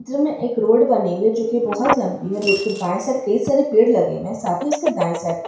इस चित्र में एक रोड बनी हुई है जो की बहुत लंबी है रोड के बायें साइक कई सारे पेड़ लगे हुए हैं साथ ही उसके दाए साइड --